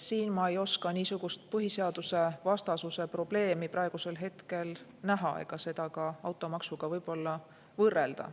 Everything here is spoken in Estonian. Siin ma ei oska niisugust põhiseadusvastasuse probleemi praegusel hetkel näha ega seda ka automaksuga võrrelda.